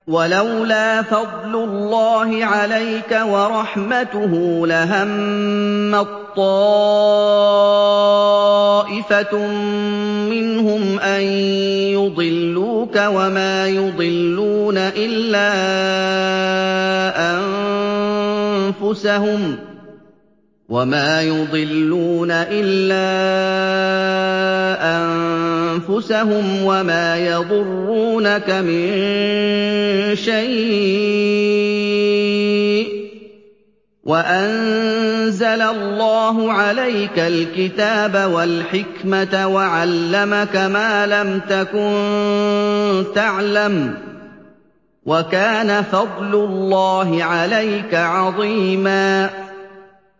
وَلَوْلَا فَضْلُ اللَّهِ عَلَيْكَ وَرَحْمَتُهُ لَهَمَّت طَّائِفَةٌ مِّنْهُمْ أَن يُضِلُّوكَ وَمَا يُضِلُّونَ إِلَّا أَنفُسَهُمْ ۖ وَمَا يَضُرُّونَكَ مِن شَيْءٍ ۚ وَأَنزَلَ اللَّهُ عَلَيْكَ الْكِتَابَ وَالْحِكْمَةَ وَعَلَّمَكَ مَا لَمْ تَكُن تَعْلَمُ ۚ وَكَانَ فَضْلُ اللَّهِ عَلَيْكَ عَظِيمًا